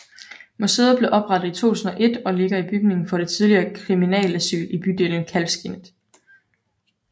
Museet blev oprettet i 2001 og ligger i bygningen for det tidligere Kriminalasyl i bydelen Kalvskinnet